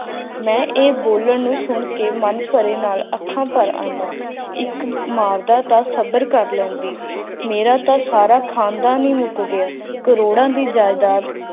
ਮੈਂ ਇਹ ਬੋਲਣ ਨੂੰ ਸੁਣ ਕੇ ਮਨ ਭਰੇ ਨਾਲ ਅੱਖਾਂ ਭਰ ਆਈਆਂ ਇਕ ਮਾਰਦਾ ਤਾਂ ਸਬਰ ਕਰ ਲੈਣਗੇ ਮੇਰਾ ਤੋਂ ਸਾਰਾ ਦੀ ਮੇਰਾ ਤੋਂ ਸਾਰਾ ਖਾਨਦਾਨ ਹੈ ਉਜਾੜ ਗਯਾ ਕਰੋੜਾਂ ਦੀ ਜਾਇਦਾਦ